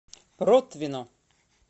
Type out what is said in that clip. протвино